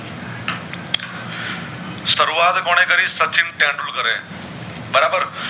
શરૂઆત કોને કરી સચિન તેંડુલકરે બરાબર